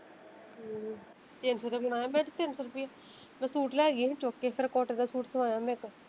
ਹਮ ਤਿੰਨ ਸੋ ਦਾ ਸੂਟ ਲੈ ਗਈ ਸੀ ਚੁੱਕ ਕੇ ਫਿਰ ਕੋਟਨ ਦਾ ਸੂਟ ਸਿਵਾਇਆ ਮੈਂ ਇੱਕ।